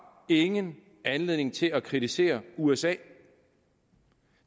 ingen anledning til at kritisere usa